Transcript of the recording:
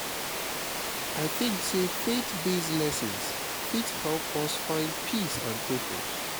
i tink sey faith-based lessons fit help us find peace and purpose